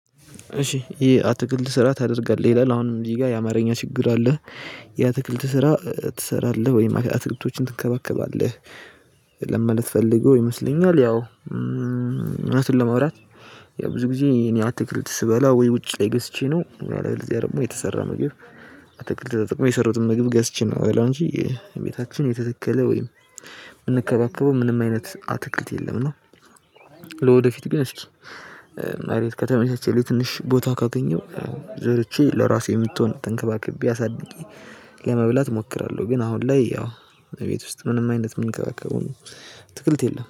እሺ የ አትክልት ስራ ታደርጋለህ? ይላል አሁንም እንዲህ ጋር የአማርኛ ችግር አለህ። የአትክልት ስራ ትሰራለህ ወይም አትክልቶችን ትንከባከባለህ? ለማለት ፈልጎ ይመስለኛል። ያው አዉነትን ለማውራት ያው ብዙ ጊዜ እኔ አትክልት ስበላ ወይ ውጪ ላይ ገዝቼ ነው። እለበለዚያ ደግሞ የተሰራ መግብ አትክልት ተጠቅሜ የሰራዉትን ምግብ ገዝቼ ነው ምበላው እንጂ ቤታችን የተተከለ ወይም ምንከባከበው ምንም አይነት አትክልት የለም ነው። ለወደፊት ግን አስኪ መሬት ከተመቻቸ ላይ ትንሽ ቦታ ካገኘው ዘርቼ ለራሴ የምትሆን ተንከባክቤ አሳድጌ ለመብላት እሞክራለው። ግን አሁን ላይ ያው ቤት ውስጥ ምንም አይነት ምንከባከበው ምንም አትክልት የለም።